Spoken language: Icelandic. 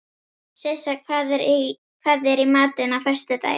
Sissa, hvað er í matinn á föstudaginn?